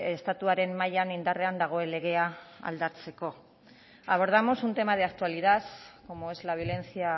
estatuaren mailan indarrean dagoen legea aldatzeko abordamos un tema de actualidad como es la violencia